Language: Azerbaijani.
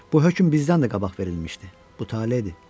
Bu hökm bizdən də qabaq verilmişdi, bu tale idi.